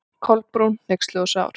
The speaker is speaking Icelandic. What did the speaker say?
Kolbrún, hneyksluð og sár.